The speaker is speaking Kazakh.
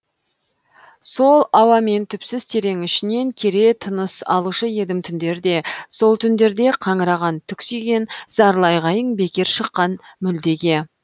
сол ауамен түпсіз терең ішінен кере тыныс алушы едім түндерде сол түндерде қаңыраған түксиген зарлы айғайың бекер шыққан мүлдеге